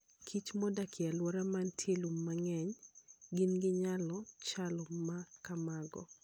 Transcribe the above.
Kich modak e alwora ma nitie lum mang'eny, gin gi nyalo chal ma kamago.